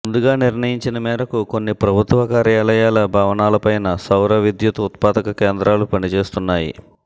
ముందుగా నిర్ణయించిన మేరకు కొన్ని ప్రభుత్వ కార్యాలయాల భవనాలపైన సౌర విద్యుత్ ఉత్పాదక కేంద్రాలు పనిచేస్తున్నాయి